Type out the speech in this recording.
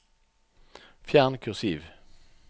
Fjern kursiv